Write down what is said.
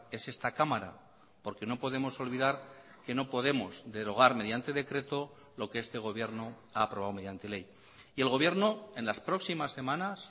es esta cámara porque no podemos olvidar que no podemos derogar mediante decreto lo que este gobierno ha aprobado mediante ley y el gobierno en las próximas semanas